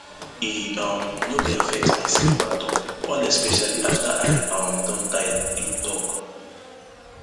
e um no dey affect my sleep at all all especially afta i um don tire im tok